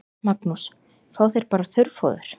Magnús: Fá þeir bara þurrfóður?